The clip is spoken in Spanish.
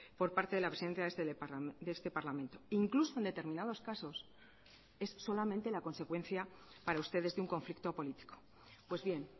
por parte de la presidencia de este parlamento incluso en determinados casos es solamente la consecuencia para ustedes de un conflicto político pues bien